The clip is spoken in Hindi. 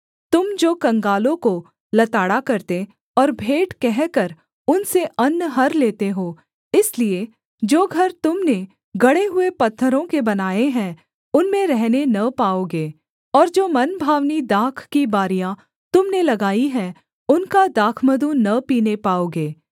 तुम जो कंगालों को लताड़ा करते और भेंट कहकर उनसे अन्न हर लेते हो इसलिए जो घर तुम ने गढ़े हुए पत्थरों के बनाए हैं उनमें रहने न पाओगे और जो मनभावनी दाख की बारियाँ तुम ने लगाई हैं उनका दाखमधु न पीने पाओगे